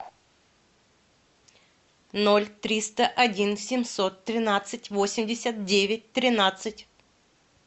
ноль триста один семьсот тринадцать восемьдесят девять тринадцать